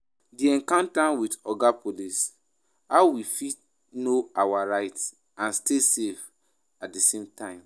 Di encounter with 'Oga police', how we fit know our rights and stay safe at di same time?